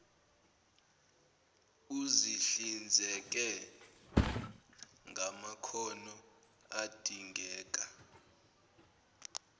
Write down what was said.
uzihlinzeke ngamakhono adingeka